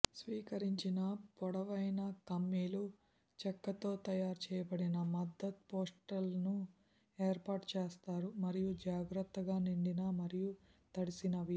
స్వీకరించిన పొడవైన కమ్మీలు చెక్కతో తయారు చేయబడిన మద్దతు పోస్ట్లను ఏర్పాటు చేస్తారు మరియు జాగ్రత్తగా నిండిన మరియు తడిసినవి